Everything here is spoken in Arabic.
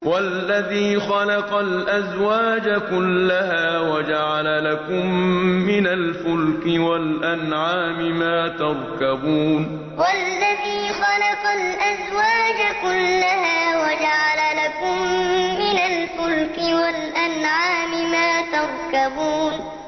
وَالَّذِي خَلَقَ الْأَزْوَاجَ كُلَّهَا وَجَعَلَ لَكُم مِّنَ الْفُلْكِ وَالْأَنْعَامِ مَا تَرْكَبُونَ وَالَّذِي خَلَقَ الْأَزْوَاجَ كُلَّهَا وَجَعَلَ لَكُم مِّنَ الْفُلْكِ وَالْأَنْعَامِ مَا تَرْكَبُونَ